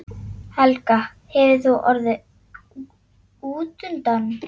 Helga: Hefur þú orðið útundan?